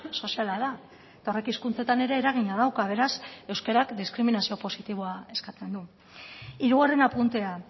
soziala da eta horrek hizkuntzetan ere eragina dauka beraz euskarak diskriminazio positiboa eskatzen du hirugarren apuntea